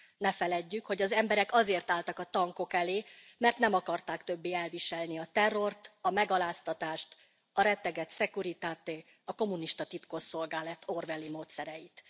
Ne feledjük, hogy az emberek azért álltak a tankok elé, mert nem akarták többé elviselni a terrort, a megaláztatást, a rettegett Securitate, a kommunista titkosszolgálat orwelli módszereit.